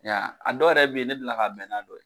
A dɔw yɛrɛ bɛ yen ne delila ka bɛn n'a dɔ ye.